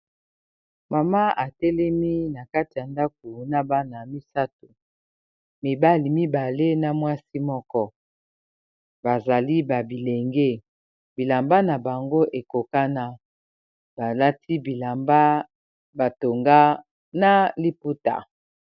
mama atelemi na kati ya ndako na bana misato mibali mibale na mwasi moko bazali babilenge bilamba na bango ekoka na balati bilamba batonga na liputa